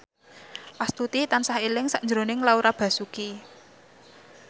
Astuti tansah eling sakjroning Laura Basuki